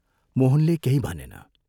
मोहनले केही भनेन।